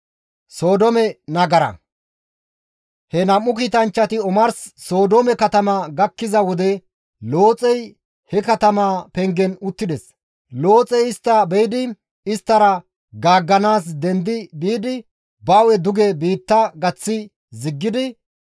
He nam7u kiitanchchati omars Sodoome katama gakkiza wode Looxey he katamaa pengen uttides. Looxey istta be7idi isttara gaagganaas dendi biidi ba hu7e duge biitta gaththi ziggidi,